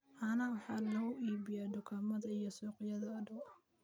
Caanaha waxaa lagu iibiyaa dukaamada iyo suuqyada u dhow.